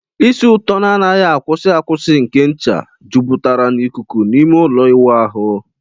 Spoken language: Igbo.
Isì ụtọ na anaghi akwusi akwusi nke ncha jupụtara n'ikuku n'ime ime ụlọ ịwụ ahụ.